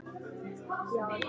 Allt er svo erfitt fyrst.